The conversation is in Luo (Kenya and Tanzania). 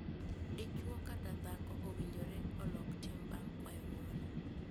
Dichwo kata dhako owinjore olok tim bang' kwayo ng'uono.